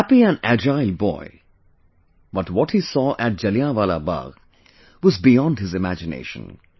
A happy and agile boy but what he saw at Jallianwala Bagh was beyond his imagination